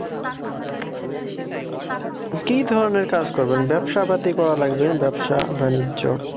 কি ধরণের কাজ করবেন? ব্যবসা পাতি করা লাগবে ব্যবসা বাণিজ্য।